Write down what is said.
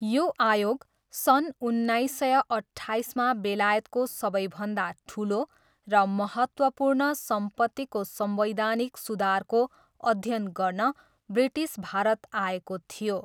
यो आयोग सन् उन्नाइस सय अट्ठाइसमा बेलायतको सबैभन्दा ठुलो र महत्त्वपूर्ण सम्पत्तिको संवैधानिक सुधारको अध्ययन गर्न ब्रिटिस भारत आएको थियो।